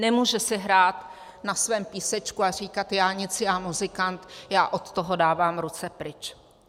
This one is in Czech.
Nemůže si hrát na svém písečku a říkat já nic, já muzikant, já od toho dávám ruce pryč.